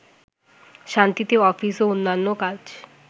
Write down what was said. শান্তিতে অফিস ও অন্যান্য কাজ